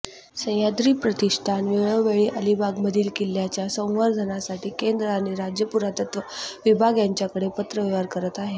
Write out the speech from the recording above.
सहयाद्री प्रतिष्ठान वेळोवेळी अलिबागमधील किल्ल्याच्या संवर्धनासाठी केंद्र आणि राज्य पुरातत्व विभाग यांच्याकडे पत्रव्यवहार करत आहे